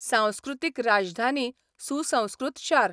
सांस्कृतीक राजधानी सुसंस्कृत शार.